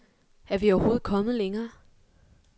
Er vi overhovedet kommet længere?